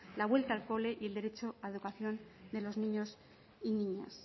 la vuelta al cole y el derecho a la educación de los niños y niñas